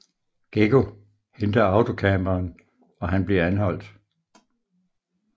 Geggo henter autocamperen og han bliver anholdt